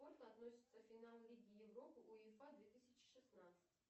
относится финал лиги европы уефа две тысячи шестнадцать